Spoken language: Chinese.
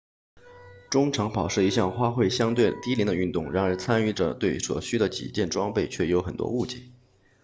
中长跑是一项花费相对低廉的运动然而参与者对所需的几件装备却有很多误解